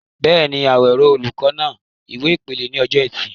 Bẹ́ẹ̀ni, Awero, olùkọ́ náà, ìwé ìpele ní ọjọ́ Ẹtì.